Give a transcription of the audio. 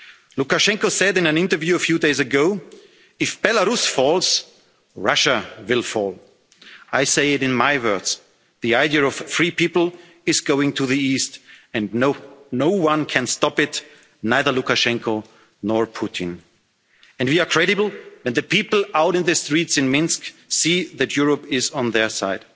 Minsk. Lukashenko said in an interview a few days ago that if Belarus falls, Russia will fall. I say it in my words the idea of free people is going to the east and no one can stop it, neither Lukashenko nor Putin. We are credible, and the people out on the streets in Minsk see that Europe is on their